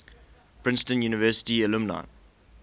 princeton university alumni